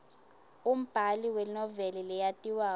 umbali wenoveli leyatiwako